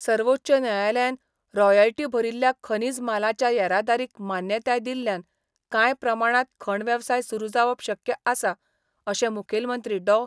सवोच्च न्यायालयान रॉयल्टी भरील्ल्या खनिज मालाच्या येरादारीक मान्यताय दिल्ल्यान काय प्रमाणात खण वेवसाय सुरू जावप शक्य आसा, अशें मुखेलमंत्री डॉ.